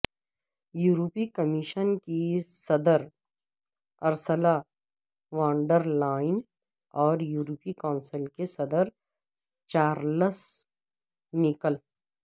یورپی کمیشن کی صدر ارسلہ وان ڈر لائن اور یورپی کونسل کے صدر چارلز میکل